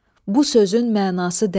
Bu sözün mənası dərin.